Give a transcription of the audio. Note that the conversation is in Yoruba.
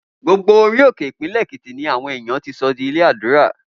Gbogbo orí òkè Ìpínlè̩ Èkìtì ni àwo̩n èèyàn ti so̩ di ilé àdúra